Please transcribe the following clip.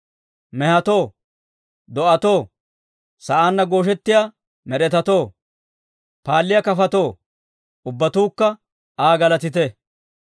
Mehetoo, do'atoo, sa'aanna gooshettiyaa med'etatoo, paalliyaa kafotoo, Ubbatuukka Aa galatite.